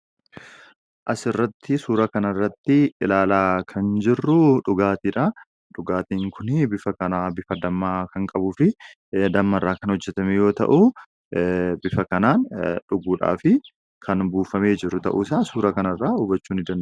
Asirratti suura kanarratti ilaalaa kan jirru dhugaatiidha. Dhugaatiin kuni bifa dammaa kan qabuufi dammarraa kan hojjatame yoo ta'u bifa kanaan dhuguudhaafi kan buufamee jiru ta'uusaa suuraa kanarraa hubachuu ni dandeenya .